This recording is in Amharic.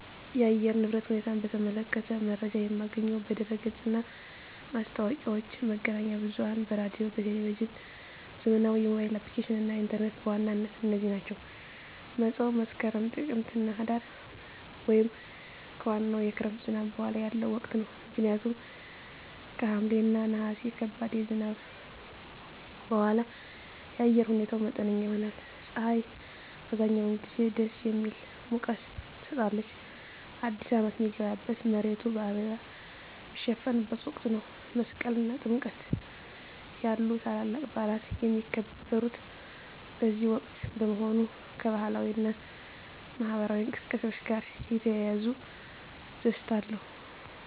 የአየር ንብረት ሁኔታን በተመለከተ መረጃ የማገኘው በድረ-ገጽ እና ማስታወቂያዎች፣ መገናኛ ብዙኃን በራዲዮ፣ በቴሊቭዥን፣ ዘመናዊ የሞባይል አፕሊኬሽኖች እና ኢንተርኔት በዋናነት እነዚህ ናቸው። መፀው መስከረም፣ ጥቅምትና ህዳር) ወይም ከዋናው የክረምት ዝናብ በኋላ ያለው ወቅት ነው። ምክንያቱም ከሐምሌ እና ነሐሴ ከባድ ዝናብ በኋላ የአየር ሁኔታው መጠነኛ ይሆናል። ፀሐይ አብዛኛውን ጊዜ ደስ የሚል ሙቀት ትሰጣለች። አዲስ አመት ሚገባበት፣ መሬቱ በአበባ ሚሸፈንበት ወቅት ነው። መስቀል እና ጥምቀት ያሉ ታላላቅ በዓላት የሚከበሩት በዚህ ወቅት በመሆኑ፣ ከባህላዊ እና ማኅበራዊ እንቅስቃሴዎች ጋር የተያያዘ ደስታ አለ።